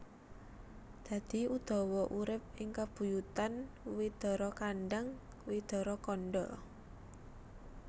Dadi Udawa urip ing kabuyutan Widarakandhang Widarakandha